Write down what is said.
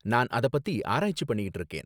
நான் அத பத்தி ஆராய்ச்சி பண்ணிட்டு இருக்கேன்